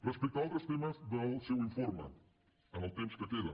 respecte a altres temes del seu informe amb el temps que queda